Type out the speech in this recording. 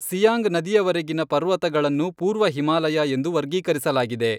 ಸಿಯಾಂಗ್ ನದಿಯವರೆಗಿನ ಪರ್ವತಗಳನ್ನು ಪೂರ್ವ ಹಿಮಾಲಯ ಎಂದು ವರ್ಗೀಕರಿಸಲಾಗಿದೆ.